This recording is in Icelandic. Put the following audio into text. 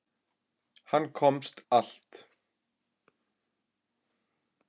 Hann komst allt.